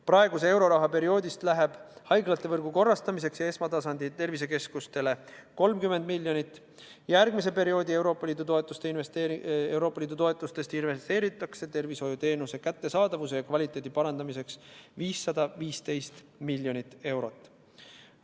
Praeguse perioodi eurorahast läheb haiglavõrgu korrastamiseks ja esmatasandi tervisekeskuste rajamiseks 30 miljonit eurot, järgmise perioodi toetustest investeeritakse tervishoiuteenuste kättesaadavuse ja kvaliteedi parandamisse 515 miljonit eurot.